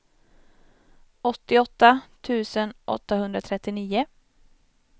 åttioåtta tusen åttahundratrettionio